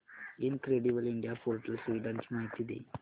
incredible India portal सुविधांची माहिती दे